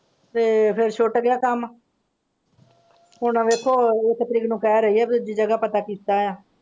ਤੇ ਫ਼ੇਰ ਛੁਟ ਗਿਆ ਕੰਮ ਹੁਣ ਵੇਖੋਂ ਇੱਕ ਤਰੀਕ ਨੂੰ ਕਹਿ ਰਹੀ ਹੈ ਦੂਜੀ ਜਗ੍ਹਾ ਪਤਾ ਕੀਤਾ ਹੈ।